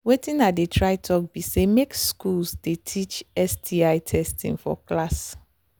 watin i they try talk be say make school they teach sti testing for class